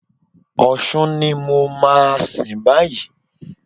Ọ̀ṣun ni mo máa sìn báyìí.